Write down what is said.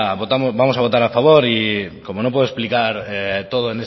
votamos vamos a votar a favor y como no puedo explicar todo